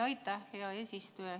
Aitäh, hea eesistuja!